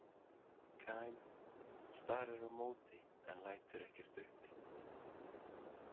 Kyle starir á móti en lætur ekkert uppi.